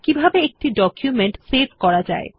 কিভাবে একটি document save করা যায়